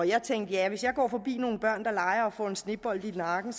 jeg tænkte ja hvis jeg går forbi nogle børn der leger og får en snebold i nakken